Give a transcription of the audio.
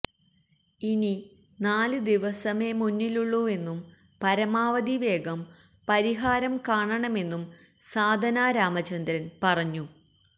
ഇനി നാല് ദിവസമേ മുന്നിലുള്ളൂവെന്നും പരമാവധി വേഗം പരിഹാരം കാണണമെന്നും സാധന രാമചന്ദ്രൻ പറഞ്ഞു